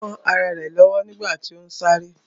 Ó kán ará rẹ̀ lọ́wọ́ nígbàtí ó ún sáré